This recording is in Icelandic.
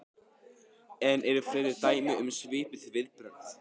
En eru fleiri dæmi um svipuð viðbrögð?